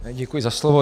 Děkuji za slovo.